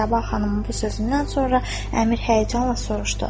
Səbah xanımın bu sözündən sonra Əmir həyəcanla soruşdu: